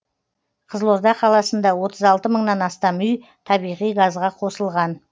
қызылорда қаласында отыз алты мыңнан астам үй табиғи газға қосылған